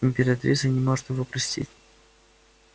императрица не может его простить